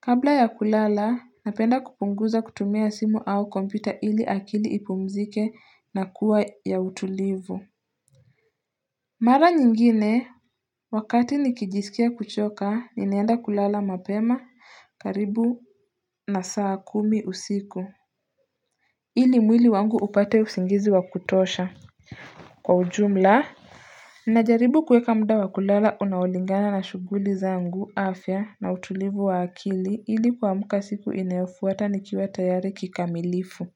Kabla ya kulala, napenda kupunguza kutumia simu au kompita ili akili ipumzike na kuwa ya utulivu. Mara nyingine, wakati nikijisikia kuchoka, ninaenda kulala mapema karibu na saa kumi usiku. Ili mwili wangu upate usingizi wa kutosha. Kwa ujumla najaribu kuweka muda wa kulala unaolingana na shughuli zangu afya na utulivu wa akili ili kuamka siku inayofuata nikiwa tayari kikamilifu.